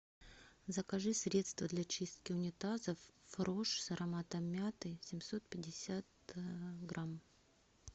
закажи средство для чистки унитазов фрош с ароматом мяты семьсот пятьдесят грамм